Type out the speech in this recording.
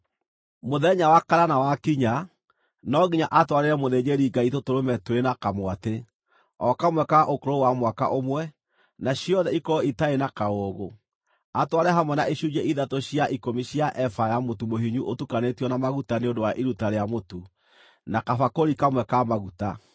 “Mũthenya wa kanana wakinya, no nginya atwarĩre mũthĩnjĩri-Ngai tũtũrũme twĩrĩ na kamwatĩ, o kamwe ka ũkũrũ wa mwaka ũmwe, na ciothe ikorwo itarĩ na kaũũgũ, atware hamwe na icunjĩ ithatũ cia ikũmi cia eba ya mũtu mũhinyu ũtukanĩtio na maguta nĩ ũndũ wa iruta rĩa mũtu, na kabakũri kamwe ka maguta.